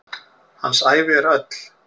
Hans ævi er öll.